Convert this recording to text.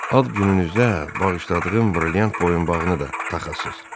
Ad gününüzdə bağışladığım brilliant boyunbağını da taxasız.